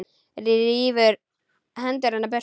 Rífur hendur hennar burt.